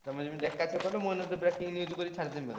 ତମେ ଯେମିତି ଏକାଥେ କହିଲ ମୁଁ ଏଇନା breaking news କରି ଛାଡିଦେବି ଏକାଥେରେ।